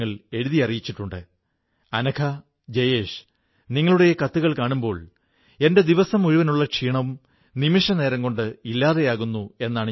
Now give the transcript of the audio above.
പ്രിയപ്പെട്ട ദേശവാസികളേ ഇന്ന് നാം നാട്ടിലെ ഉത്പന്നങ്ങൾക്കുവേണ്ടി സംസാരിക്കുമ്പോൾ ലോകം തന്നെ നമ്മുടെ പ്രാദേശി ഉത്പന്നങ്ങളിലേക്ക് ആകർഷിക്കപ്പെടുകയാണ്